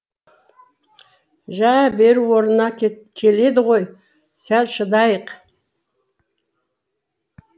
жә бәрі орнына келеді ғой сәл шыдайық